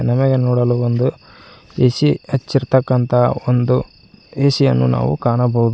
ನಮಗೆ ನೋಡಲು ಒಂದು ಎ_ಸಿ ಹಚ್ಚಿರ್ತಕ್ಕಂತ ಒಂದು ಎ_ಸಿ ಯನ್ನು ನಾವು ಕಾಣಬಹುದು.